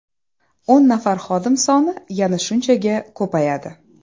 O‘n nafar xodim soni yana shunchaga ko‘payadi.